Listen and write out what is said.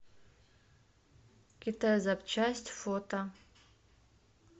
китайзапчасть фото